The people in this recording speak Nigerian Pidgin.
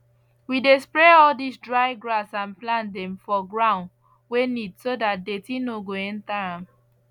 we dey spray all dis dry grass and plant dem for ground wey neat so dat dirty no go enter am